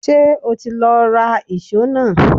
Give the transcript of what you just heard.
Ṣé o ti lọ ra ìṣó náà?